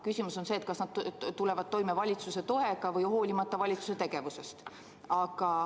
Küsimus on, kas nad tulevad toime valitsuse toega või hoolimata valitsuse tegevusest.